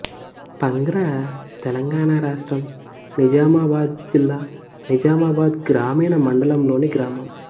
పంగ్రా తెలంగాణ రాష్ట్రం నిజామాబాద్ జిల్లా నిజామాబాద్ గ్రామీణ మండలంలోని గ్రామం